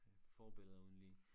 Forbilleder uden lige